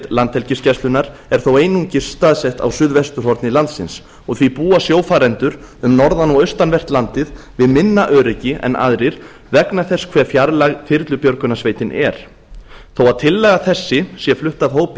landhelgisgæslunnar er þó einungis staðsett á suðvesturhorni landsins og því búa sjófarendur um norðan og austanvert landið við minna öryggi en aðrir vegna þess hve fjarlæg þyrlubjörgunarsveitin er þó að tillaga þessi sé flutt af hópi